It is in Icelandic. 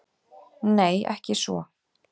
Nei ekki svo.